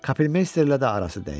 Kapelmeysterlə də arası dəydi.